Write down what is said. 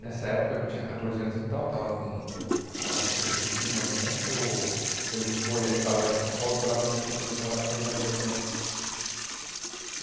Nessa época, que eu tinha catorze anos então, eu estava com, vamos falar para setenta e cinco mais ou menos, que eu ele foi ele estava daqui de São Paulo, foi lá, me buscou para eu vir morar com ele na adolescência.